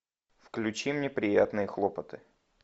включи мне приятные хлопоты